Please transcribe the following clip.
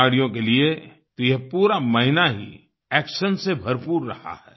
खिलाड़ियों के लिए तो ये पूरा महीना ही एक्शन से भरपूर रहा है